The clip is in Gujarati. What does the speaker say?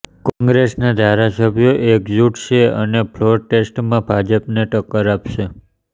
કોંગ્રેસના ધારાસભ્યો એકજૂઠ છે અને ફ્લોર ટેસ્ટમાં ભાજપને ટક્કર આપશે